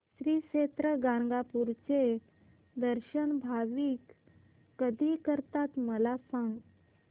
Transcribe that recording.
श्री क्षेत्र गाणगापूर चे दर्शन भाविक कधी करतात मला सांग